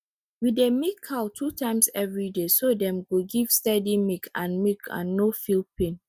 we dey milk cow two times every day so dem go give steady milk and milk and no feel pain